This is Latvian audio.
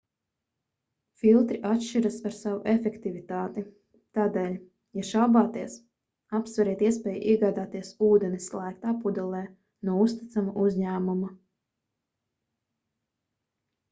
filtri atšķiras ar savu efektivitāti tādēļ ja šaubāties apsveriet iespēju iegādāties ūdeni slēgtā pudelē no uzticama uzņēmuma